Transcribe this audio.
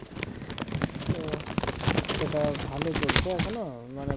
তো সেটা ভাল চলছে এখনও মানে